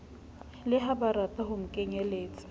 le ha barata ho nkeletsa